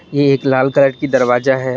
ये एक लाल कलर की दरवाजा है।